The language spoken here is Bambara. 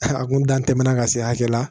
A kun dan tɛmɛna ka se hakɛ la